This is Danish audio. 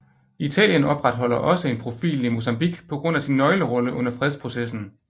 Italien opretholder også en profil i Mozambique på grund af sin nøglerolle under fredsprocessen